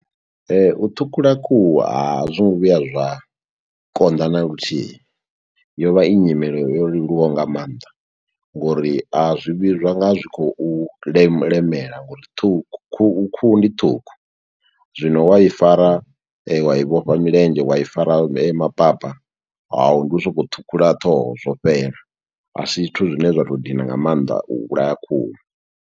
U ṱhukhula khuhu a zwi ngo vhuya zwa konḓa naluthihi, yo vha i nyimelo yo leluwaho nga maanḓa, ngo uri a zwi vhi zwa nga zwi khou leme lemela, ngo uri ṱhukhu khuhu khuhu ndi ṱhukhu. Zwino wa i fara, wa i vhofha milenzhe, wa i fara maphapha. Hau, ndi u sokou ṱhukhula ṱhoho, zwo fhela, a si zwithu zwine zwa to dina nga maanḓa u vhulaya khuhu.